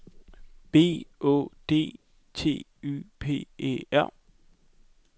B Å D T Y P E R